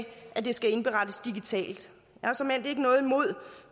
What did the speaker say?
at det skal indberettes digitalt